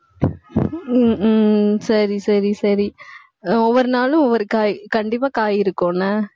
உம் உம் சரி, சரி, சரி அஹ் ஒவ்வொரு நாளும், ஒவ்வொரு காய் கண்டிப்பா காய் இருக்கும் என்ன